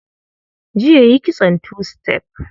Jiya yi kitson tu-sitef